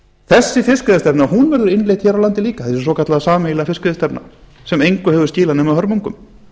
þessi fiskveiðistefna verður innleidd hér á landi líka þessi svokallaða sameiginlega fiskveiðistefna sem engu hefur skilað nema hörmungum